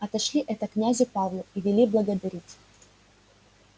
отошли это князю павлу и вели благодарить